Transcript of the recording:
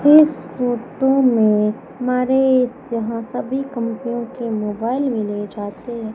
इस फोटो में हमारे यहां सभी कंपनियों के मोबाइल मिले जाते हैं।